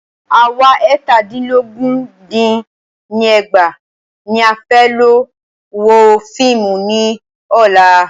À wa eètàdínlógún dín ní ẹgbàá ní a fẹ́ lọ wo fíìmù ní ọ̀la.